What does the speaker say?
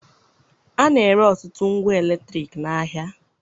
A na-ere ọtụtụ ngwa eletriki n'ahịa